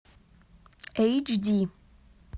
эйч ди